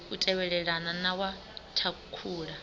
u tevhelelana na wa thakhula